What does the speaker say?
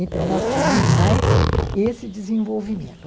Então, nós tínhamos mais esse desenvolvimento.